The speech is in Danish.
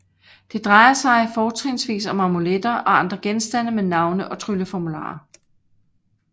Det drejer sig fortrinsvis om amuletter og andre genstande med navne og trylleformularer